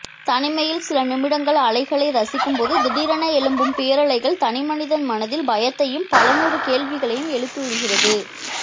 தனிமையில் சில நிமிடங்கள் அலைகளை ரசிக்கும்போது திடீரென எழும்பும் பேரலைகள் தனிமனிதன் மனதில் பயத்தையும் பலநூறு கேள்விகளையும் எழுப்பிவிடுகிறது